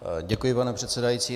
Děkuji, pane předsedající.